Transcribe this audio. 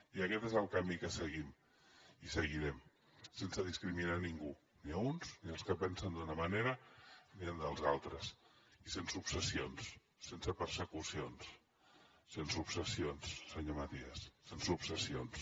i aquest és el camí que seguim i seguirem sense discriminar ningú ni a uns ni als que pensen d’una manera ni als altres i sense obsessions sense persecucions sense obsessions senyor matías sense obsessions